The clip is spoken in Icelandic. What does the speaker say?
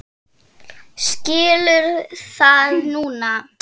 Skilur það núna.